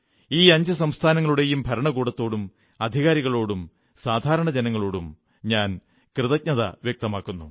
ഈ അഞ്ചു സംസ്ഥാനങ്ങളുടെയും ഭരണകൂടത്തോടും അധികാരികളോടും സാധാരണജനങ്ങളോടും ഞാൻ കൃതജ്ഞത വ്യക്തമാക്കുന്നു